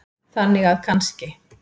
Þannig að kannski.